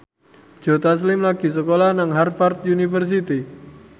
Joe Taslim lagi sekolah nang Harvard university